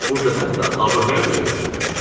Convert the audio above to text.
Burda hətta abır-həya da gözənilmir.